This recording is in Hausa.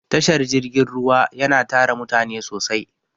Tashar jirgin ruwa yana tara mutane sosai.